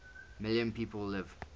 million people live